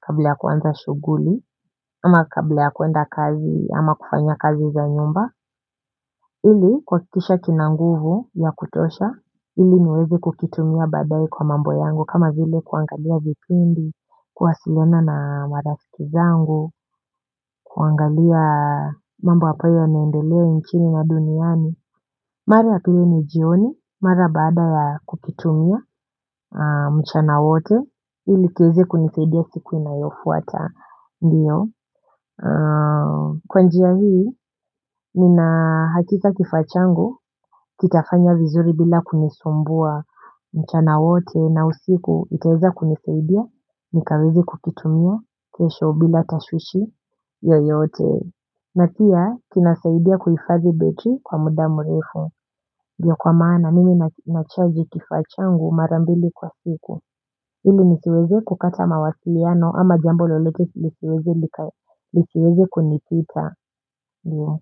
kabla ya kuanza shughuli, ama kabla ya kwenda kazi, ama kufanya kazi za nyumba, ili kuhakikisha kina nguvu ya kutosha, ili niwezi kukitumia baadaye kwa mambo yangu, kama vile kuangalia vipindi, kuwasiliana na marafiki zangu, kuangalia mambo ambayo yanaendelea nchini na duniani. Mara ya pili ni jioni, mara baada ya kukitumia mchana wote, ili kiweze kunisaidia siku inayofuata, ndiyo. Kwa njia hii, nina hakika kifaa changu, kitafanya vizuri bila kunisumbua mchana wote na usiku itaweza kunisaidia, nikaweza kukitumia, kesho bila tashwishwi, yoyote. Na pia, kinasaidia kuhifadhi betri kwa muda mrefu. Ndio kwa maana mimi nachaji kifaa changu mara mbili kwa siku. Ili nisiweze kukata mawasiliano ama jambo lolote lisiweze kunipita.